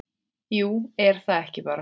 Jú, er það ekki bara?